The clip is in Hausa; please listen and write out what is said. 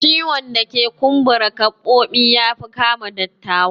Ciwon dake kumbara gabobi yafi kama dattawa